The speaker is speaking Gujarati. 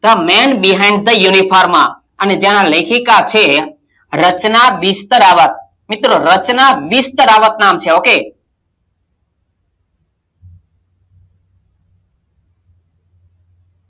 the men behind the uniform અને જ્યાં આ લેખિકાં છે રચના બિસ્તરાંવત મિત્રો રચના બિસ્તરાંવત નામ છે ok